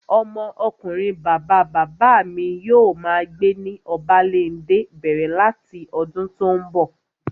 Ọmọ ọkunrin bàbá bàbá mi yóò máa gbé ní Obalende bẹ̀rẹ̀ láti ọdún tó n bọ̀